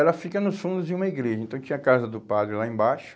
Ela fica nos fundos de uma igreja, então tinha a casa do padre lá embaixo,